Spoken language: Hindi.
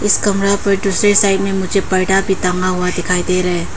इस कमरा पर दूसरे साइड में मुझे पर्दा भी टांगा हुआ दिखाई दे रा है।